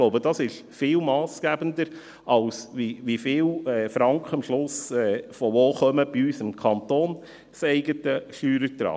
Ich glaube, dass dies viel massgebender ist, als die Frage, wie viele Franken am Schluss woher kommen bei unserem kantonseigenen Steuerertrag.